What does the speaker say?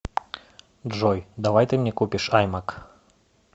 джой давай ты мне купишь аймак